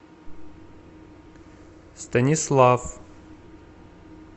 станислав